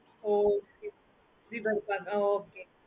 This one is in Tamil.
okay okay